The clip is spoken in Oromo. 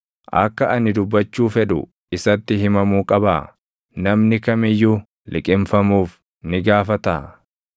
Akka ani dubbachuu fedhu isatti himamuu qabaa? Namni kam iyyuu liqimfamuuf ni gaafataa?